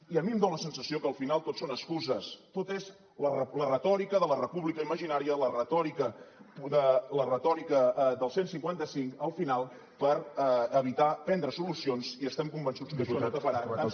i a mi em dona la sensació que al final tot són excuses tot és la retòrica de la república imaginària la retòrica del cent i cinquanta cinc al final per evitar prendre solucions i estem convençuts que això no taparà tants incompliments